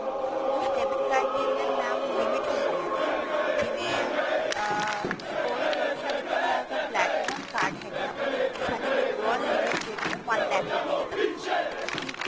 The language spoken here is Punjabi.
ਉਸ debit card ਦੇ ਅੰਦਰ mam limits ਹੁੰਦੀਆਂ ਨੇ ਜਿਵੇਂ ਅਹ suppose ਕਰੋ ਸਾਡੇ ਕੋਲ ਅਗਰ platinum card ਹੈਗਾ ਉਹਦੇ ਵਿੱਚ ਸਾਡੀ withdraw limit ਜਿਹੜੀ ਹੈ ਉਹ one lack rupees ਤੱਕ ਦੀ ਹੁੰਦੀ ਹੈ ਮਤਲਬ ਕੀ